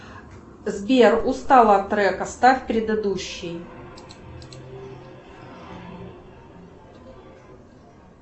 сбер устала от трека ставь предыдущий